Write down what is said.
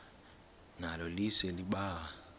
nalo lise libaha